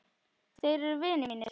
Þeir eru vinir mínir.